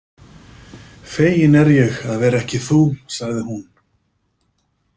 Fegin er ég að vera ekki þú, sagði hún.